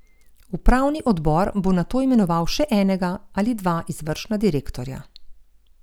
Upravni odbor bo nato imenoval še enega ali dva izvršna direktorja.